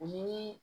O ni